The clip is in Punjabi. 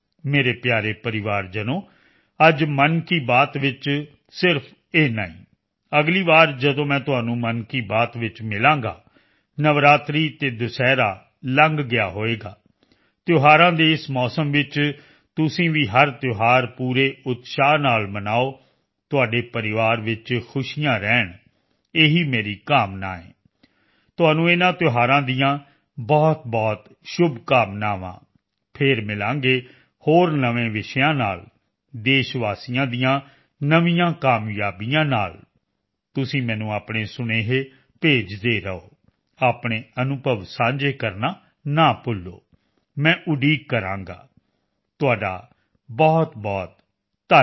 ਮੇਰੇ ਪਿਆਰੇ ਪਰਿਵਾਰਜਨੋ ਅੱਜ ਮਨ ਕੀ ਬਾਤ ਵਿੱਚ ਸਿਰਫ ਇੰਨਾ ਹੀ ਅਗਲੀ ਵਾਰ ਜਦੋਂ ਮੈਂ ਤੁਹਾਨੂੰ ਮਨ ਕੀ ਬਾਤ ਵਿੱਚ ਮਿਲਾਂਗਾ ਨਵਰਾਤਰੀ ਅਤੇ ਦੁਸਹਿਰਾ ਲੰਘ ਗਿਆ ਹੋਵੇਗਾ ਤਿਉਹਾਰਾਂ ਦੇ ਇਸ ਮੌਸਮ ਵਿੱਚ ਤੁਸੀਂ ਵੀ ਹਰ ਤਿਉਹਾਰ ਪੂਰੇ ਉਤਸ਼ਾਹ ਨਾਲ ਮਨਾਓ ਤੁਹਾਡੇ ਪਰਿਵਾਰ ਵਿੱਚ ਖੁਸ਼ੀਆਂ ਰਹਿਣ ਇਹੀ ਮੇਰੀ ਕਾਮਨਾ ਹੈ ਤੁਹਾਨੂੰ ਇਨ੍ਹਾਂ ਤਿਉਹਾਰਾਂ ਦੀਆਂ ਬਹੁਤਬਹੁਤ ਸ਼ੁੱਭਕਾਮਨਾਵਾਂ ਫੇਰ ਮਿਲਾਂਗੇ ਹੋਰ ਨਵੇਂ ਵਿਸ਼ਿਆਂ ਨਾਲ ਦੇਸ਼ ਵਾਸੀਆਂ ਦੀਆਂ ਨਵੀਆਂ ਕਾਮਯਾਬੀਆਂ ਨਾਲ ਤੁਸੀਂ ਮੈਨੂੰ ਆਪਣੇ ਸੁਨੇਹੇ ਭੇਜਦੇ ਰਹੋ ਆਪਣੇ ਅਨੁਭਵ ਸਾਂਝੇ ਕਰਨਾ ਨਾ ਭੁੱਲੋ ਮੈਂ ਉਡੀਕ ਕਰਾਂਗਾ ਤੁਹਾਡਾ ਬਹੁਤ ਧੰ